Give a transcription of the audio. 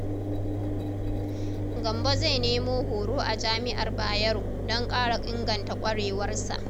Gambo zai nemi horo a Jami’ar Bayero don ƙara inganta kwarewarsa.